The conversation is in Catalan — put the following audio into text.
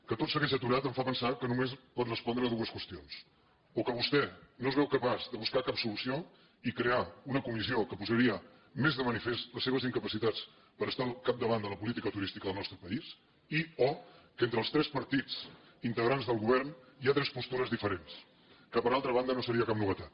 que tot segueix aturat em fa pensar que només pot respondre a dues qüestions o que vostè no es veu capaç de buscar cap solució i crear una comissió que posaria més de manifest les seves incapacitats per estar al capdavant de la política turística del nostre país i o que entre els tres partits integrants del govern hi ha tres postures diferents que per altra banda no seria cap novetat